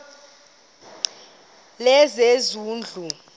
lezezindlu